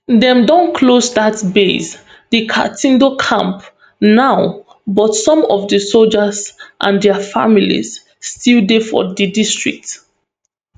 dem don close dat base di katindo camp now but some of di soldiers and dia families still dey for di district